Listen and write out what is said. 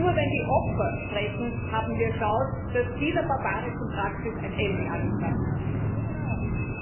Denn nur, wenn die Opfer sprechen, haben wir eine Chance, dass dieser barbarischen Praxis ein Ende gesetzt wird.